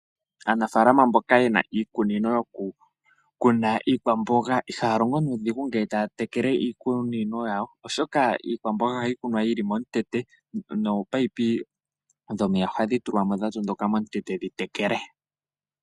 Aanafalama mboka yena iikunino ,yoku kuna iikwamboga ihaya longo nuudhigu, nge ta tekele iikunino yawo oshoka iikwamboga ohayi kunwa yili momutete, nopayipi dhomeya ohadhi tulwamo dha tondoka momutete dhi tekele.